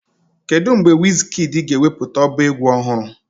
Kedu mgbe Wizkidii ga-ewepụta ọba egwu ọhụrụ?